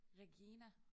Regina